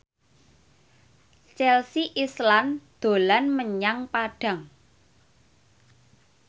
Chelsea Islan dolan menyang Padang